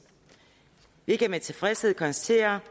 vi kan med tilfredshed konstatere